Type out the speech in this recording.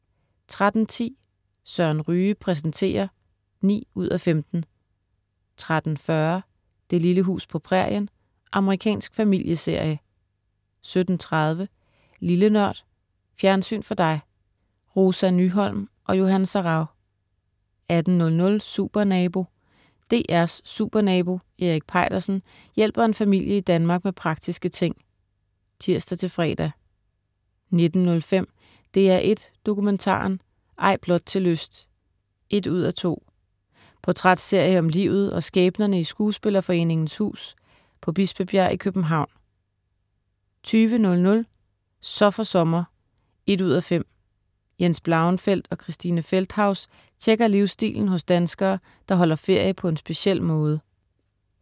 13.10 Søren Ryge præsenterer 9:15* 13.40 Det lille hus på prærien. Amerikansk familieserie 17.30 Lille Nørd. Fjernsyn for dig. Rosa Nyholm og Johan Sarauw 18.00 Supernabo. DR's Supernabo Erik Peitersen hjælper en familie i Danmark med praktiske ting (tirs-fre) 19.05 DR1 Dokumentaren: Ej blot til lyst 1:2. Portrætserie om livet og skæbnerne i Skuespillerforeningens Hus på Bispebjerg i København 20.00 Så for sommer 1:5. Jens Blauenfeldt og Christine Feldthaus tjekker livsstilen hos danskere, der holder ferie på en speciel måde